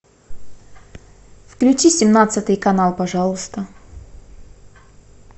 включи семнадцатый канал пожалуйста